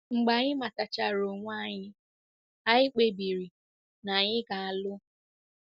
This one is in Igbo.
Mgbe anyị matachara onwe anyị, anyị kpebiri na anyị ga-alụ.